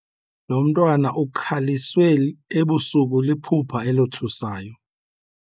Lo mntwana ukhaliswe ebusuku liphupha elothusayo.